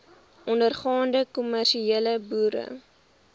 ondergaande kommersiële boere